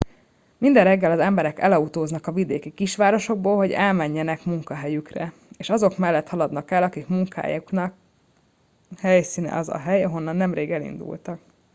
minden reggel az emberek elautóznak a vidéki kisvárosokból hogy elmenjenek munkahelyükre és azok mellett haladnak el akik munkájának helyszíne az a hely ahonnan nemrég elindultak